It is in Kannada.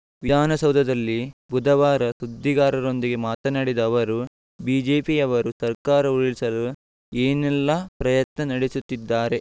ವಿಧಾನಸೌಧದಲ್ಲಿ ಬುಧವಾರ ಸುದ್ದಿಗಾರರೊಂದಿಗೆ ಮಾತನಾಡಿದ ಅವರು ಬಿಜೆಪಿಯವರು ಸರ್ಕಾರ ಉರುಳಿಸಲು ಏನೆಲ್ಲಾ ಪ್ರಯತ್ನ ನಡೆಸುತ್ತಿದ್ದಾರೆ